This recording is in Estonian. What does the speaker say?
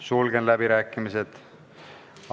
Sulgen läbirääkimised.